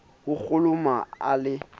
a ho kholomo a le